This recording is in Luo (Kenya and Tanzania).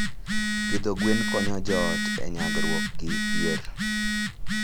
Pidho gwen konyo joot e nyagruok gi dhier.